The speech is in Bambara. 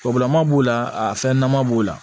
Kɔgɔlama b'o la a fɛn ɲɛnama b'o la